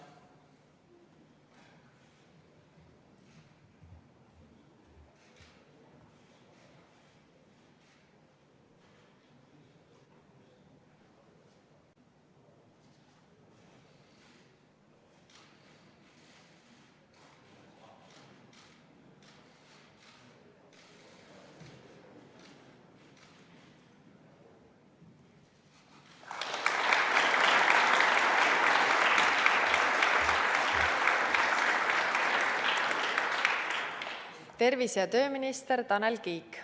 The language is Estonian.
Tervise- ja tööminister Tanel Kiik.